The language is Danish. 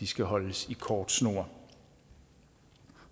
skal holdes i kort snor